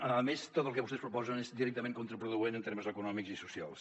a més tot el que vostès proposen és directament contraproduent en termes econòmics i socials